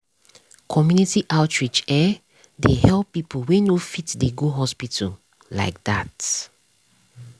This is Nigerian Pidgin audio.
community outreach[um]dey help people wey no fit dey go hospital like that.